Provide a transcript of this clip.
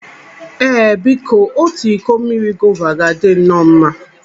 Ee, biko! Otu iko mmiri gova ga-adị nọọ mma?